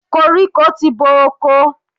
Koríko ti bo oko.